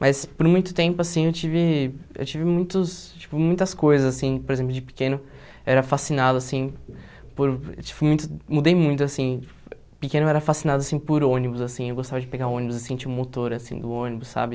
Mas por muito tempo, assim, eu tive, eu tive muitos, tipo, muitas coisas, assim, por exemplo, de pequeno eu era fascinado, assim, por, tipo, muito, mudei muito, assim, pequeno eu era fascinado, assim, por ônibus, assim, eu gostava de pegar ônibus, assim, tinha um motor, assim, do ônibus, sabe?